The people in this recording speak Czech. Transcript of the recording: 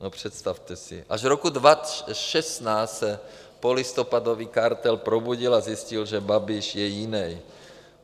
No, představte si, až v roce 2016 se polistopadový kartel probudil a zjistil, že Babiš je jinej.